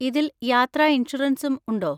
ഇതിൽ യാത്രാ ഇൻഷുറൻസും ഉണ്ടോ?